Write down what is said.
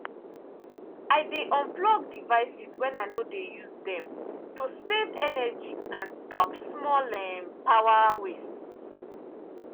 i dey unplug devices when i no dey use dem to save energy and stop small um power waste.